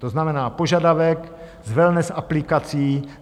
To znamená požadavek z wellness aplikací.